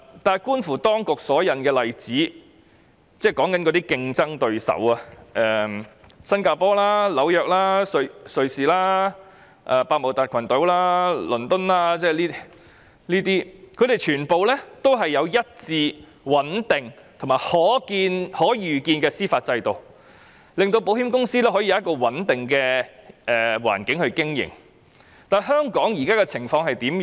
但是，觀乎當局所引用的例子——即競爭對手——新加坡、紐約、瑞士、百慕達群島、倫敦等，他們全部有一致穩定和可預見的司法制度，令保險公司可以有一個穩定的經營環境，而香港現在的情況是怎樣？